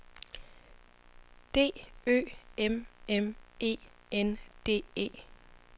D Ø M M E N D E